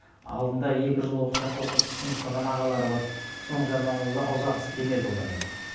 алдында екі жыл осы жақта оқып сіңіп қалған ағалары бар соның жанынан ұзағысы келмеді олар енді